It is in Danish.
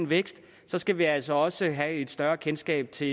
væksten skal vi altså også have et større kendskab til